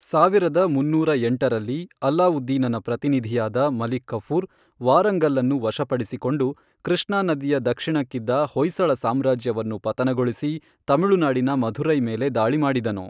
ಸಾವಿರದ ಮನ್ನೂರ ಎಂಟರಲ್ಲಿ, ಅಲಾವುದ್ದೀನನ ಪ್ರತಿನಿಧಿಯಾದ ಮಲಿಕ್ ಕಫೂರ್ ವಾರಂಗಲ್ಲನ್ನು ವಶಪಡಿಸಿಕೊಂಡು, ಕೃಷ್ಣಾ ನದಿಯ ದಕ್ಷಿಣಕ್ಕಿದ್ದ ಹೊಯ್ಸಳ ಸಾಮ್ರಾಜ್ಯವನ್ನು ಪತನಗೊಳಿಸಿ, ತಮಿಳುನಾಡಿನ ಮಧುರೈ ಮೇಲೆ ದಾಳಿ ಮಾಡಿದನು.